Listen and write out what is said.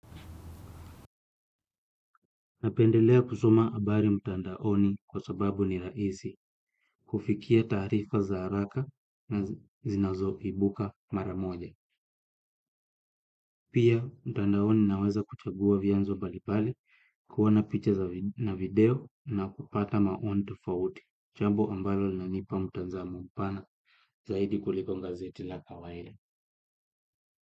Napendelea kusoma habari mtandaoni kwa sababu ni rahisi, kufikia taarifa za haraka na zinazo ibuka mara moja. Pia mtandaoni naweza kuchagua vyanzo mbalimbali, kuona picha na video na kupata maoni tofauti. Jambo ambalo linanipa mtazamo pana, zaidi kuliko gazeti la kawaida.